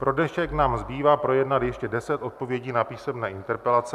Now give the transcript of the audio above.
Pro dnešek nám zbývá projednat ještě 10 odpovědí na písemné interpelace.